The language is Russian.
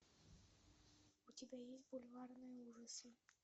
у тебя есть бульварные ужасы